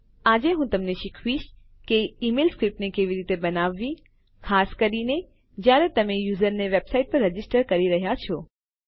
આજે હું તમને શીખવીશ કે ઈમેલ સ્ક્રીપ્ટને કેવી રીતે બનાવવી ખાસ કરીને જયારે તમે યુઝર ને વેબસાઈટ પર રજીસ્ટર કરી રહ્યાં છો